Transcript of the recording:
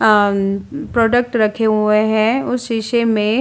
आ-म् product रखे हुए हैं उस शीशे में।